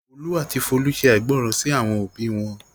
Olú àti Folú ṣàìgbọràn sí àwọn òbí wọn.